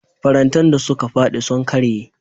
Farantan da suka faɗi sun karye.